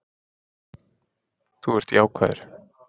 Þú ert jákvæður.